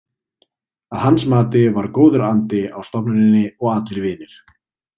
Að hans mati var góður andi á stofnuninni og allir vinir.